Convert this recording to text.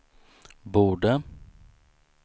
borde